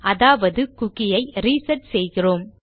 அதாவது குக்கி ஐ ரிசெட் செய்கிறோம்